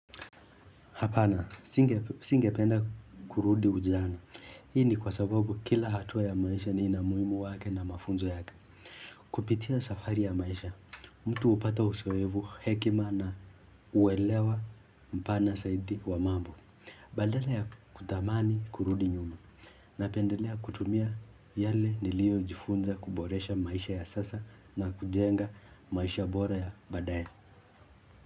Hapana, singependa kurudi ujana. Hii ni kwa sababu kila hatua ya maisha ni ina umuhimu wake na mafunzo yake. Kupitia safari ya maisha, mtu hupata uzoefu hekima na huelewa mpana zaidi wa mambo. Badala ya kuthamani kurudi nyuma. Napendelea kutumia yale niliojifunza kuboresha maisha ya sasa na kujenga maisha bora ya baadaye.